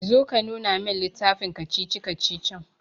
Zo ka nuna min littafin kacici-kacicicin.